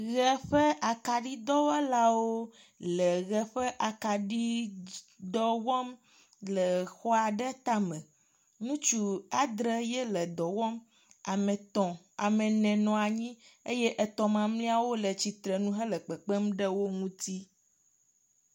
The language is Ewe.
ʋe ƒe akaɖi dɔwɔlawo le akaɖidɔ wɔm le exɔ aɖe tame, ŋutsu adree le dɔ dɔm, ame ene nɔa anyi eye etɔ̃ mamlɛawo le tsitrenu hele kpekpem ɖe wo ŋuti